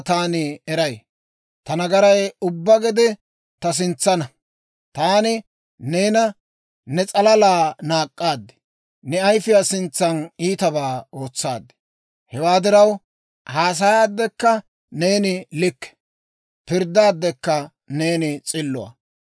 Taani neena, ne s'alala naak'k'aad; ne ayifiyaa sintsan iitabaa ootsaad. Hewaa diraw, haasayaaddekka neeni likke; pirddaaddekka neeni s'illuwaa.